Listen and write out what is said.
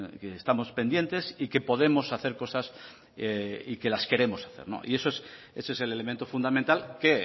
que estamos pendientes y que podemos hacer cosas y que las queremos hacer ese es el elemento fundamental que